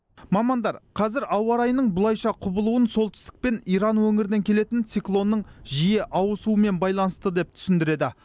мамандар қазір ауа райының бұлайша құбылуын солтүсік пен иран өңірінен келетін циклонның жиі ауысуымен байланысты деп түсіндіреді